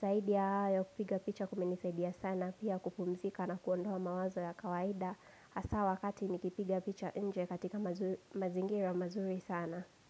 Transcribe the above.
Zaidi ya hayo kupiga picha kumenisaidia sana, pia kupumzika na kuondoa mawazo ya kawaida. Hsa wakati nikipiga picha nje katika mazi mazingira mazuri sana.